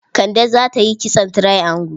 Kande za ta yi kitson triangle?